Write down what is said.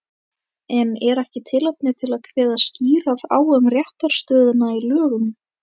En er ekki tilefni til að kveða skýrar á um réttarstöðuna í lögum?